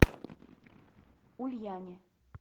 ульяне